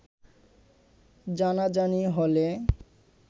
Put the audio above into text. জানাজানি হলে